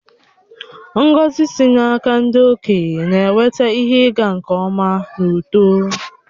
Ngọzi sị n’aka ndị okenye na-eweta ihe ịga nke ọma na uto.